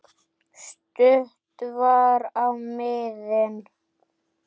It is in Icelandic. Stutt var á miðin.